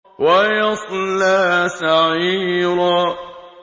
وَيَصْلَىٰ سَعِيرًا